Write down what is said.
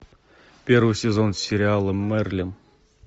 первый сезон сериала мерлин